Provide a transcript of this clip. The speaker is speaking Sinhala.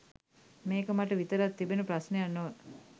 මේක මට විතරක් තිබෙන ප්‍රශ්නයක් නොව